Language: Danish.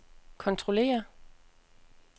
kontrollere